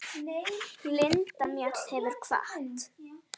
Linda Mjöll hefur kvatt.